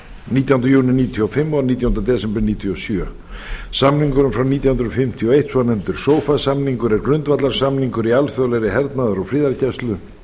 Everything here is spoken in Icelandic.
nítján hundruð níutíu og fimm og nítjánda desember nítján hundruð níutíu og sjö samningurinn frá nítján hundruð fimmtíu og eitt svonefndur sofa samningur er grundvallarsamningur í alþjóðlegri hernaðar og friðargæslu